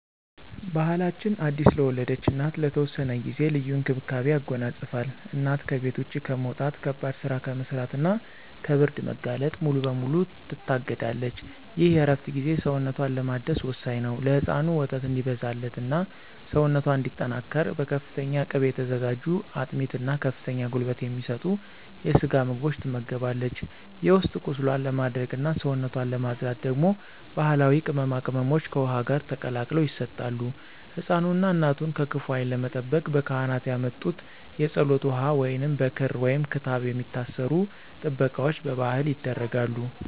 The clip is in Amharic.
ባሕላችን አዲስ ለወለደች እናት ለተወሰነ ጊዜ ልዩ እንክብካቤን ያጎናጽፋል። እናት ከቤት ውጭ ከመውጣት፣ ከባድ ሥራ ከመሥራትና ከብርድ መጋለጥ ሙሉ በሙሉ ትታገዳለች። ይህ የእረፍት ጊዜ ሰውነቷን ለማደስ ወሳኝ ነው። ለሕፃኑ ወተት እንዲበዛላትና ሰውነቷ እንዲጠናከር በፍተኛ ቅቤ የተዘጋጁ አጥሚት እና ከፍተኛ ጉልበት የሚሰጡ የስጋ ምግቦች ትመገባለች። የውስጥ ቁስሏን ለማድረቅና ሰውነቷን ለማፅዳት ደግሞ ባሕላዊ ቅመማ ቅመሞች ከውኃ ጋር ተቀላቅለው ይሰጣሉ። ሕፃኑንና እናቱን ከክፉ ዓይን ለመጠበቅ ካህናት ያመጡት የፀሎት ውኃ ወይንም በክር/ክታብ የሚታሰሩ ጥበቃዎች በባሕል ይደረጋሉ።